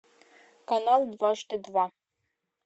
канал дважды два